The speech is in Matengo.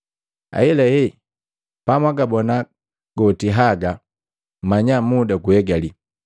Ahelahe pamwagaabona goti haga mmanya muda guegali.